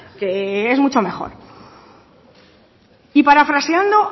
que es mucho mejor y parafraseando